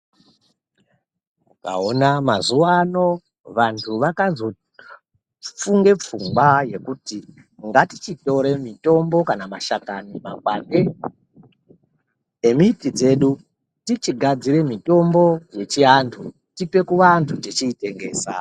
Ukaona mazuwa ano vantu vakazofunge pfungwa yekuti ngatichitore mitombo kana mashakani, makwande emiti dzedu tichigadzire mitombo yechiantu tipe kuvantu techiitengesa.